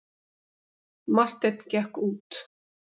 Marteinn gekk út.